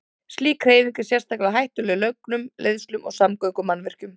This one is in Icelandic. Slík hreyfing er sérstaklega hættuleg lögnum, leiðslum og samgöngumannvirkjum.